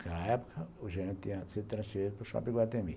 Na época, o gerente tinha sido transferido para o Shopping Iguatemi.